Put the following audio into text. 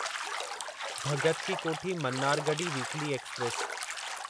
Bhagat ki Kothi Mannargudi weekly express